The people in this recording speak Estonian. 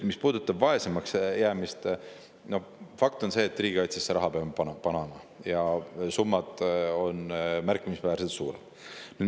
Mis puudutab vaesemaks jäämist, siis fakt on see, et riigikaitsesse me peame raha panema ja need summad on märkimisväärselt suuremad.